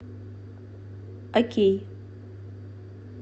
окей